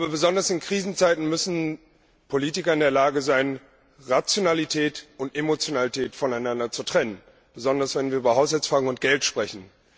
Besonders in Krisenzeiten müssen Politiker in der Lage sein, Rationalität und Emotionalität voneinander zu trennen, gerade wenn wir über Haushaltsfragen und Geld sprechen.